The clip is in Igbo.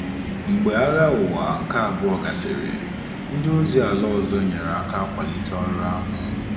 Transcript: Mgbe Agha Ụwa nke Abụọ gasịrị, ndị ozi ala ọzọ nyere aka kwalite ọrụ ahụ.